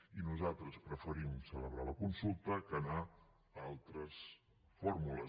i nosaltres preferim celebrar la consulta que anar a altres fórmules